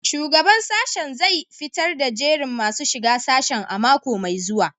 Shugaban sashen zai fitar da jerin masu shiga sashen a mako mai zuwa